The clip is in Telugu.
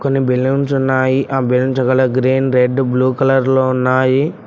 కొన్ని బెలూన్స్ ఉన్నాయి ఆ balloons green red blue colour లో ఉన్నాయి.